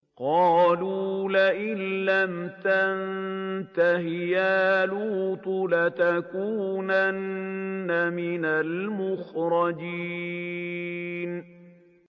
قَالُوا لَئِن لَّمْ تَنتَهِ يَا لُوطُ لَتَكُونَنَّ مِنَ الْمُخْرَجِينَ